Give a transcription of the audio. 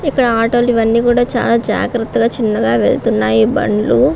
ఇక్కడ ఆటో లు ఇవన్నీ కూడా చాలా జాగ్రత్తగా చిన్నగా వెళుతూ ఉన్నాయి బండ్లు.